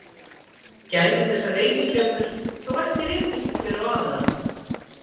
Gætu þessar reikistjörnur þá ekki rekist hver á aðra?